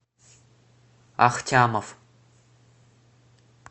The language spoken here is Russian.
ахтямов